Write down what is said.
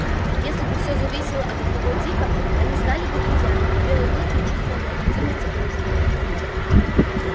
если бы всё зависело от одного дика они стали бы друзьями но белый клык не чувствовал необходимости в дружбе